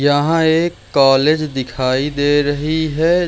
यहां एक कॉलेज दिखाई दे रही है।